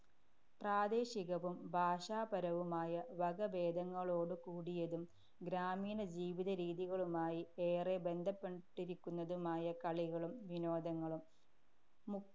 പ്രാദേശികവും ഭാഷാപരവുമായ വകഭേദങ്ങളോടുകൂടിയതും ഗ്രാമീണ ജീവിതരീതികളുമായി ഏറെ ബന്ധപ്പെട്ടിരിക്കുന്നതുമായ കളികളും വിനോദങ്ങളും. മു~